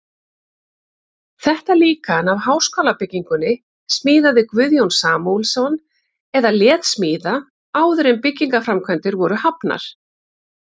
Þetta líkan af háskólabyggingunni smíðaði Guðjón Samúelsson eða lét smíða, áður en byggingarframkvæmdir voru hafnar.